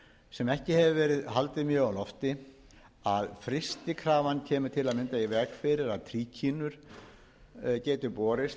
sem ekki hefur verið haldið mjög á lofti að frystikrafan kemur til að mynda í veg fyrir að tríkínur geti borist